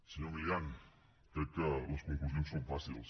senyor milián crec que les conclusions són fàcils